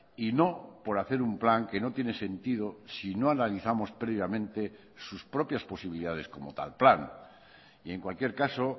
y no por hacer un plan que no tiene sentido si no analizamos previamente sus propias posibilidades como tal plan y en cualquier caso